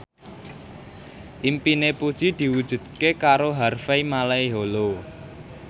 impine Puji diwujudke karo Harvey Malaiholo